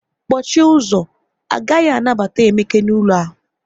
Kpọchie ụzọ, a gaghị anabata Emeka n'ụlọ a